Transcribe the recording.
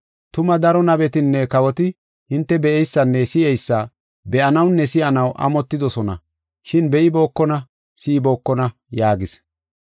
Tuma daro nabetinne kawoti hinte be7eysanne si7eysa be7anawunne si7anaw amotidosona, shin be7ibookona, si7ibookona” yaagis.